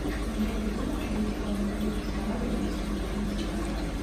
джой где находится дом дружбы с народами зарубежных стран